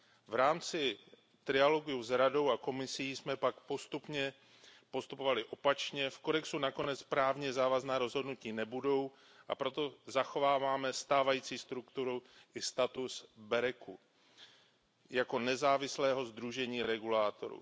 V rámci trialogů s Radou a Komisí jsme pak postupovali opačně v kodexu nakonec právně závazná rozhodnutí nebudou, a proto zachováváme stávající strukturu i status sdružení BEREC jako nezávislého sdružení regulátorů.